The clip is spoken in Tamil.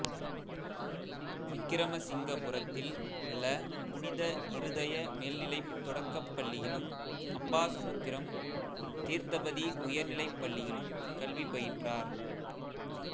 விக்கிரமசிங்கபுரத்தில் உள்ள புனித இருதய மேல்நிலைத் தொடக்கப் பள்ளியிலும் அம்பாசமுத்திரம் தீர்த்தபதி உயர்நிலைப் பள்ளியிலும் கல்வி பயின்றார்